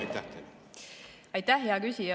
Aitäh, hea küsija!